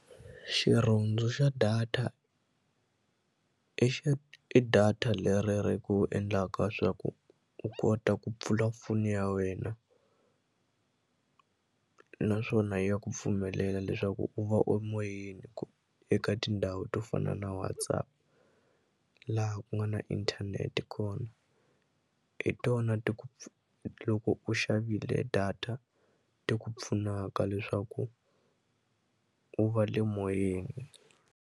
Xirhundzu xa data i i data leri ri ku endlaka swa ku u kota ku pfula foni ya wena naswona ya ku pfumelela leswaku u va u moyeni eka tindhawu to fana na WhatsApp laha ku nga na inthanete kona hi tona ti ku loko u xavile data ti ku pfunaka leswaku u va le moyeni.